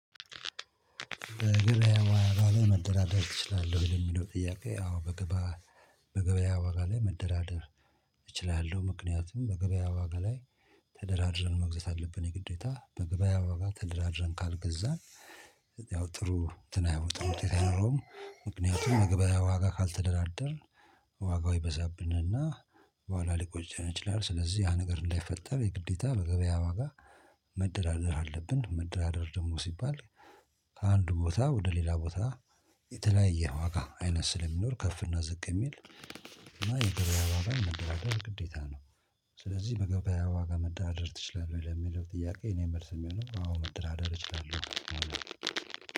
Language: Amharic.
በገበያ ዋጋ ላይ መደራደር ትችላለሁ ወይ? ለሚለው ጥያቄ አዎ። በገበያ ዋጋ ላይ መደራደር እችላለሁ። ምክንያቱም በገበያ ዋጋ ላይ ተደራድረን መግዛት አለብን የግዴታ በገበያ ዋጋ ተደራድረን ካልገዛን ያው ጥሩ እንትን አይወጣም ውጤት አይኖረውም። ምክንያቱም በገበያ ዋጋ ካልተደራደርን ዋጋው ይበዛብንና በኋላ ሊቆጨን ይችላል። ስለዚህ ያ ነገር እንዳይፈጠር የግዴታ በገበያ ዋጋ መደራደር አለብን። መደራደር ደግሞ ሲባል ከአንድ ቦታ ወደ ሌላ ቦታ የተለያየ ዋጋ አይነት ስለሚኖር ከፍ እና ዝቅ የሚል እና የገበያ ዋጋ መደራደር ግዴታ ነው። ስለዚህ በገበያ ዋጋ መደራደር ትችላለህ ለሚለው ጥያቄ የእኔ መልስ የሚሆነው አዎ መደራደር እችላለሁ።